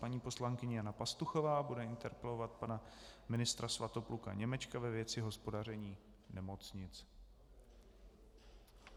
Paní poslankyně Jana Pastuchová bude interpelovat pana ministra Svatopluka Němečka ve věci hospodaření nemocnic.